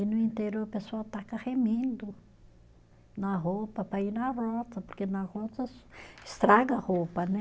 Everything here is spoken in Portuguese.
E no interior o pessoal taca remendo na roupa para ir na roça, porque na roça estraga a roupa, né?